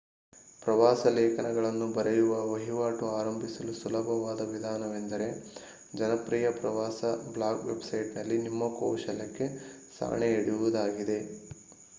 ಪ್ರವಾಸ ಲೇಖನಗಳನ್ನು ಬರೆಯುವ ವಹಿವಾಟು ಆರಂಭಿಸಲು ಸುಲಭವಾದ ವಿಧಾನವೆಂದರೆ ಜನಪ್ರಿಯ ಪ್ರವಾಸ ಬ್ಲಾಗ್ ವೆಬ್‌ಸೈಟ್‌ನಲ್ಲಿ ನಿಮ್ಮ ಕೌಶಲಕ್ಕೆ ಸಾಣೆ ಹಿಡಿಯುವುದಾಗಿದೆ